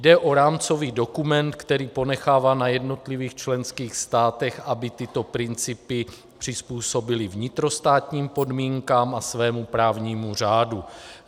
Jde o rámcový dokument, který ponechává na jednotlivých členských státech, aby tyto principy přizpůsobily vnitrostátním podmínkám a svému právnímu řádu.